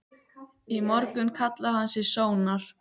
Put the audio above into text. Í morgun kallaði hann sig Sónar.